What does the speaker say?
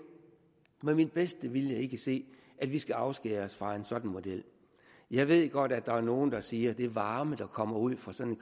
med min bedste vilje ikke se at vi skal afskære os fra en sådan model jeg ved godt at der er nogle der siger at den varme der kommer ud fra sådan